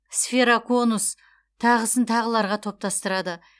сфероконус тағысын тағыларға топтастырады